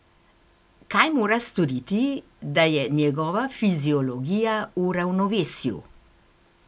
Kaj mora storiti, da je njegova fiziologija v ravnovesju?